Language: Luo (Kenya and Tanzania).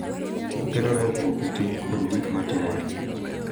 Okelo lokruok e ting’ kod gik ma timore.